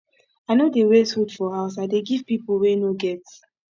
i no dey waste food for house i dey give pipo wey no get